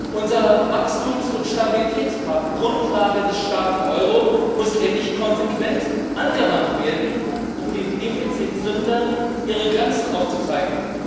Unser Wachstums und Stabilitätspakt, Grundlage des starken Euro, muss endlich konsequent angewandt werden, um den Defizitsündern ihre Grenzen aufzuzeigen.